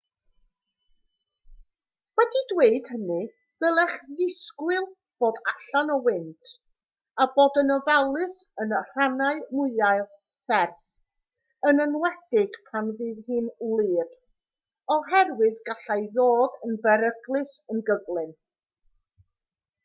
wedi dweud hynny dylech ddisgwyl bod allan o wynt a bod yn ofalus yn rhannau mwyaf serth yn enwedig pan fydd hi'n wlyb oherwydd gallai ddod yn beryglus yn gyflym